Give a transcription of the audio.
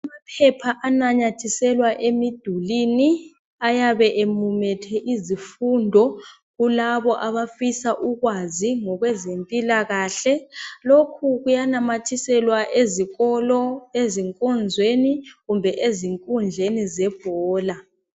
Amaphepha afakwa emidulini ayabe emumethe izifundo kulabo abafisa ukwazi ngokweze mpilakahle lokhu kuyafakwa ezikolo, ezinkonzweni kumbe ezinkundleni zebhola